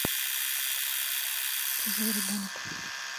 чужой ребенок